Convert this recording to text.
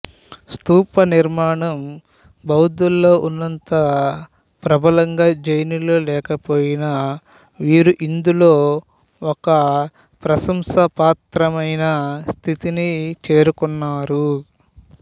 స్తూప నిర్మాణము బౌద్ధులలో ఉన్నంత ప్రబలంగా జైనులలో లేక పోయినా వీరు కూడా ఇందులో ఒక ప్రశంసాపాత్రమైన స్థితిని చేరుకున్నారు